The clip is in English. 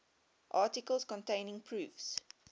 articles containing proofs